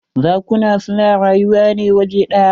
Zakuna su na rayuwa ne waje ɗya.